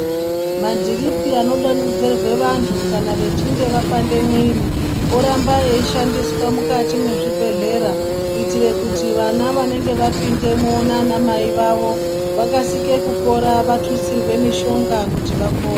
Madhiripi anodonhodzerwa vantu kana vachinge vapinde mwiri orambe eishandiswa mukati mwezvibhedhlera kuitire kuti vana vanenge vapindemo naana mai vavo vakasike kupora vatutsirwe mishonga kuti vapore.